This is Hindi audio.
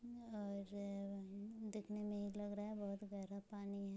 और देखेने मे ही लग रहा है बोहत गहरा पानी है।